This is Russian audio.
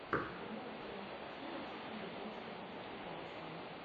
врубай кинокартину типа японской мультипликации